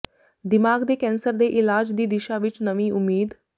ਦਿਮਾਗ ਦੇ ਕੈਂਸਰ ਦੇ ਇਲਾਜ ਦੀ ਦਿਸ਼ਾ ਵਿਚ ਨਵੀਂ ਉਮੀਦ